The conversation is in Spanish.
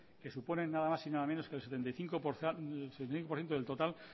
que supone nada más y nada menos que el setenta y cinco por ciento del total